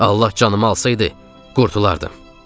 Allah canımı alsaydı, qurtardım.